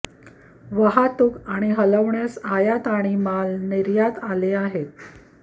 वाहतूक आणि हलवण्यास आयात आणि माल निर्यात आले आहेत